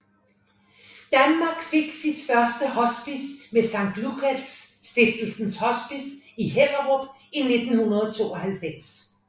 Danmark fik sit første hospice med Sankt Lukas Stiftelsens Hospice i Hellerup i 1992